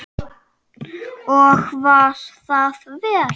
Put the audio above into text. Og var það vel.